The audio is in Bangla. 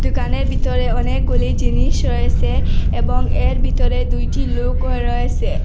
দুকানের ভিতরে অনেকগুলি জিনিস রয়েসে এবং এর ভিতরে দুইটি লুকও রয়েসে।